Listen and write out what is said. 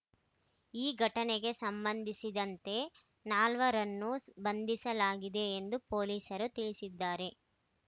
ಈ ಘಟನೆಗೆ ಸಂಬಂಧಿಸಿದಂತೆ ನಾಲ್ವರನ್ನು ಬಂಧಿಸಲಾಗಿದೆ ಎಂದು ಪೊಲೀಸರು ತಿಳಿಸಿದ್ದಾರೆ